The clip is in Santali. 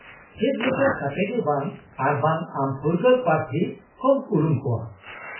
-ᱪᱮᱫ ᱞᱮᱠᱟ ᱠᱟᱛᱮᱫ ᱜᱮ ᱵᱟᱝ ᱟᱨᱵᱟᱝ ᱟᱢ ᱯᱷᱩᱨᱜᱟᱹᱞ ᱯᱨᱟᱨᱛᱷᱤ ᱠᱚᱢ ᱩᱨᱩᱢ ᱠᱚᱣᱟ ?